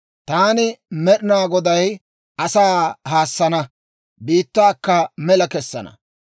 Taani Med'inaa Goday asaa haassana; biittaakka mela kessana.